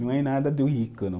Não é nada do rico não